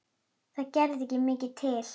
Það gerði ekki mikið til.